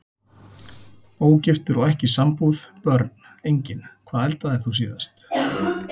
Ógiftur og ekki í sambúð Börn: Engin Hvað eldaðir þú síðast?